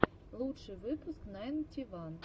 лучший выпуск найнти ван